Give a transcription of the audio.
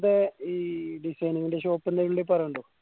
ഇങ്ങനത്തെ ഈ designing ന്റെ shop എന്തേലും ഇണ്ടേൽ പറയണംട്ടോ